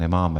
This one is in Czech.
Nemáme.